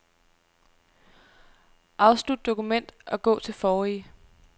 Afslut dokument og gå til forrige.